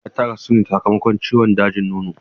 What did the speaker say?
Safiya ta rasu ne sakamakon ciwon dajin nono.